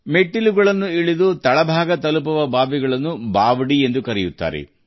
ಬಾವೊಲಿಗಳು ಎಂದರೆ ಬೃಹತ್ ಬಾವಿಗಳು ಅವುಗಳು ಮೆಟ್ಟಿಲುಗಳನ್ನು ಹೊಂದಿರುತ್ತವೆ